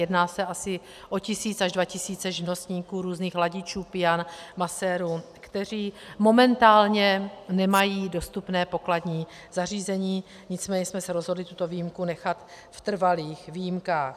Jedná se asi o tisíc až dva tisíce živnostníků, různých ladičů pian, masérů, kteří momentálně nemají dostupné pokladní zařízení, nicméně jsme se rozhodli tuto výjimku nechat v trvalých výjimkách.